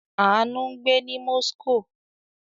Àánú ń gbé ní Moscow.